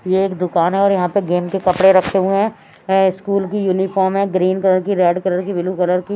ये एक दुकान है और यहाँ पे गेम के कपड़े रखे हुए हैं अ स्कूल की यूनिफॉर्म है ग्रीन कलर की रेड कलर की ब्लू कलर की --